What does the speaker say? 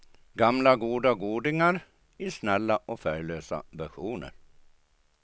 Många gamla godingar, i snälla och färglösa versioner.